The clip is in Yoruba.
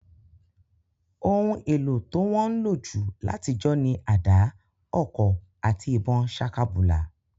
Oun èlo to won nlo jù látijọ́ ni ada, ọ̀kọ̀ àti ìbon sakabùlà